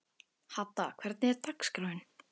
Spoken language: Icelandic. Hadda, hvernig er dagskráin?